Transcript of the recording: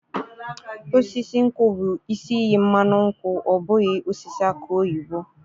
Osisi nkwụ bụ isi iyi mmanụ nkwụ ọ bụghị osisi aki oyibo.